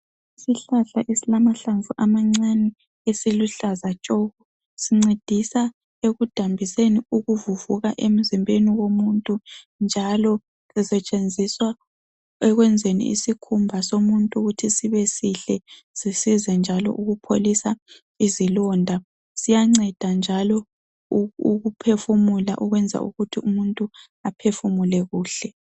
Isihlahla esilamahlamvu amancani esiluhlaza tshoko sincedisa ekudambiseni ukuvuvuka emzimbeni womuntu njalo usetshenziswa ekwenzeni isikhumba somuntu ukuthi sibesihle sisize njalo ukupholisa izilonda. Siyanceda njalo u ukuphefumula okwenza ukuthi umuntu aphefumule kuhle.